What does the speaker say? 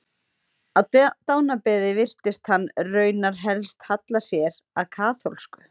Á dánarbeði virtist hann raunar helst halla sér að kaþólsku.